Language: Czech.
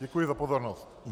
Děkuji za pozornost.